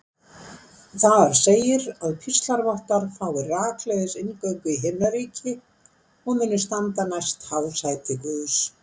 Þar segir að píslarvottar fái rakleiðis inngöngu í himnaríki og muni standa næst hásæti Guðs.